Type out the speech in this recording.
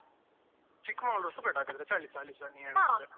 ಚಿಕ್ಕ್ಮಂಗಳೂರುಸ ಬೇಡ ಹಾಗಾದ್ರೆ ಚಳಿಸ ಅಲ್ಲಿಸ ನೀನ್ ಹೇಳುದಾದ್ರೆ